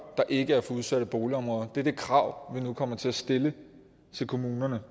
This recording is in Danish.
der ikke er fra udsatte boligområder det er det krav vi nu kommer til at stille til kommunerne